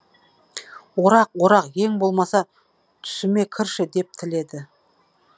орақ орақ ең болмаса түсіме кірші деп тіледі